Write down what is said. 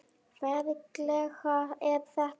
Ferlega er þetta flókið!